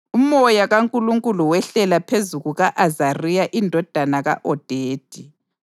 Umoya kaNkulunkulu wehlela phezu kuka-Azariya indodana ka-Odedi.